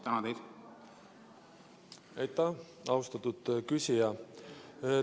Aitäh, austatud küsija!